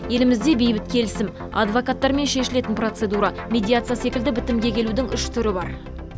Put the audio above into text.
елімізде бейбіт келісім адвокаттармен шешілетін процедура медиация секілді бітімге келудің үш түрі бар